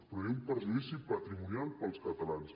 però hi ha un perjudici patrimonial per als catalans